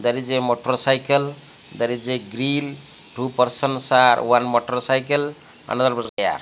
there is a motorcycle there is a grill two persons are one motorcycle another person ya--